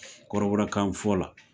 kɔrɔbɔrɔkan fɔ la